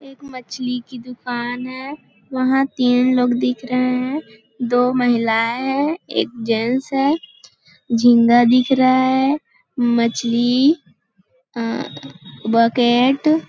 एक मछली की दुकान है वहाँ तीन लोग दिख रहे है दो महिलाएं है एक जेन्स है जिंदा दिख रहा है मछली अअअ बकेट --